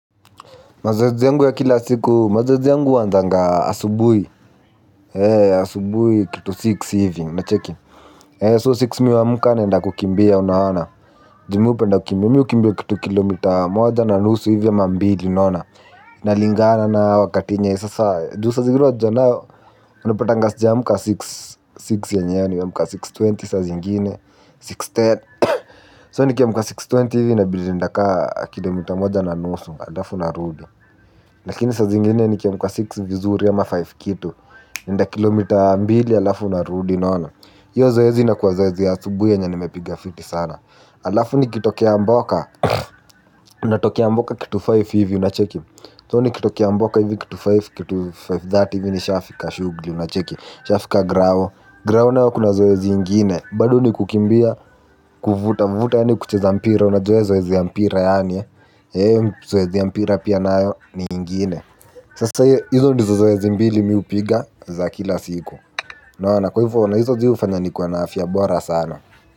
Mazoezi yangu ya kila siku mazoezi yangu huwa asubuhi kitu six hivi unacheki so six mimi huamka naenda kukimbia unaona mimi hupenda kukimbia mimi hukimbia kilomita moja na nusu hivi ama mbili unaona inalingana na wakati enye sasa juu saa zingine unajua nao unapata sijiamka six six yenyewe nimeamka six twenty saa zingine six ten so nikiamka six twenty hivi inabidi nitaenda ka kilomita moja na nusu halafu narudi lakini saa zingine nikiamka six vizuri ama five kitu naenda kilomita mbili halafu narudi unaona hiyo zoezi inakuwa zoezi asubuhi yenye nimepiga fiti sana halafu nikitokea mboka natokea mboka kitu five hivi unacheki so nikitokea mboka hivi kitu five thirty hivi nishafika shughuli unacheki nishafika grao grao nao kuna zoezi ingine bado nikukimbia kuvuta vuta yaani kucheza mpira unajua zoezi ya mpira yaani zoezi ya mpira pia nayo ni ingine. Sasa hizo ndizo zoezi mbili mimi hupiga za kila siku. Unaona na hizo hufanya nikuwe na afya bora sana.